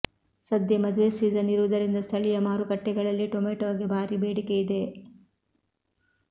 ಸದ್ಯ ಮದುವೆ ಸೀಸನ್ ಇರುವುದರಿಂದ ಸ್ಥಳೀಯ ಮಾರುಕಟ್ಟೆಗಳಲ್ಲಿ ಟೊಮೆಟೋಗೆ ಭಾರಿ ಬೇಡಿಕೆ ಇದೆ